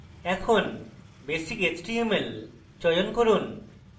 এখন basic html চয়ন করুন